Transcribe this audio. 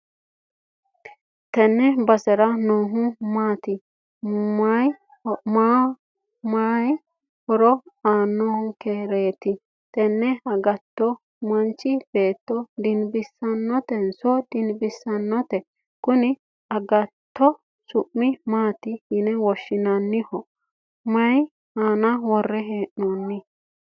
tenne basera noohu maati? may horo aannonkereeti? tini agatto manchu beetto dinbissannotenso didinbisannote? kuni agattote su'mi maati yine woshhsi'nanniho? may aana worre hee'noonni?